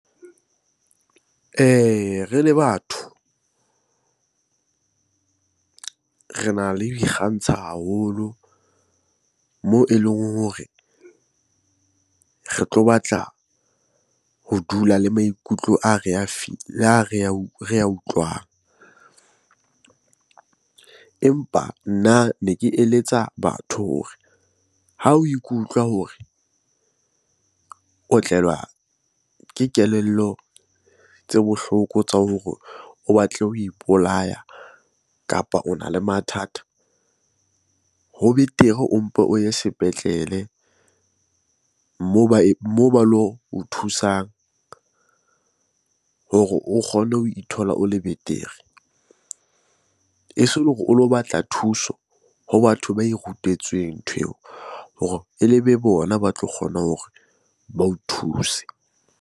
Re le batho rena le ho ikgantsha haholo moo eleng hore re tlo batla ho dula le maikutlo a re a a re ya utlwang. Empa nna ne ke eletsa batho hore ha o ikutlwa hore o tlelwa ke kelello tse bohloko tsa hore o batle ho ipolaya, kapa ona le mathata. Ho betere o mpe o ye sepetlele moo ba lo o thusang hore o kgone ho ithola o le betere. E se ele hore o lo batla thuso ho batho ba e rutetsweng ntho eo hore e be bona ba tlo kgona hore ba o thuse.